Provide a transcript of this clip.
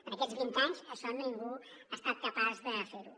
en aquests vint anys això ningú no ha estat capaç de fer ho